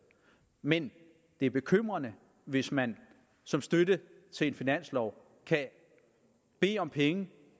men det er bekymrende hvis man som støtte til en finanslov kan bede om penge